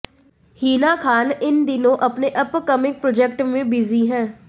हिना खान इन दिनों अपने अपकमिंग प्रोजेक्ट में बिजी हैं